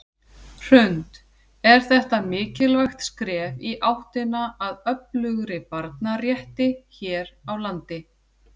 Hrund: Er þetta mikilvægt skref í áttina að öflugri barnarétti hér á landi?